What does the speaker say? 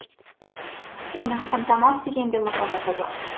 оның фантомас деген де лақап аты бар